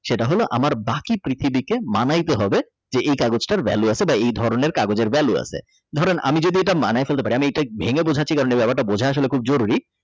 আমার বাকি পৃথিবী কে মানায় তে হবে বা এই কাগজ তার ভ্যালু আছে বা এই ধরণের কাগজ এর ভ্যালু আছে ধরেন আমি যদি মানায় ফেলতে পারি আমি এটা ভেঙ্গে বাজাচ্ছি কারণ এই ব্যাপার টা বোঝা আসলে খুব জরুরি।